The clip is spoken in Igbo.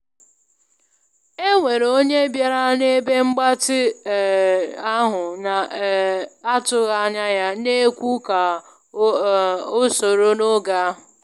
E nwere onye bịara na ebe mgbatị um ahụ na um atụghị anya ya, na ekwu ka um o soro n'oge ahu